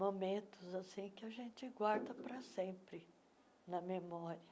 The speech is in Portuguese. momentos assim que a gente guarda pra sempre na memória.